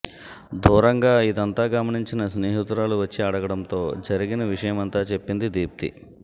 దూరంగా ఇదంతా గమనించిన స్నేహితురాలు వచ్చి అడగడంతో జరిగిన విషయమంతా చెప్పింది దీప్తి